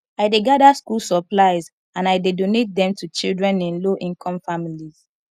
i dey gather school supplies and i dey donate dem to children in lowincome families